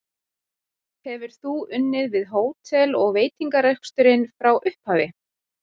Hefur þú unnið við hótel- og veitingareksturinn frá upphafi?